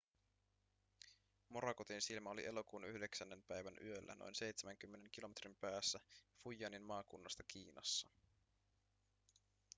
morakotin silmä oli elokuun 9 päivän yöllä noin seitsemänkymmenen kilometrin päässä fujianin maakunnasta kiinassa